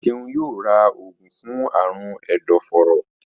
Seun yóò rà oògùn fún Àrùn ẹdọforó